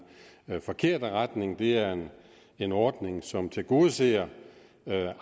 forkerte retning det er en ordning som tilgodeser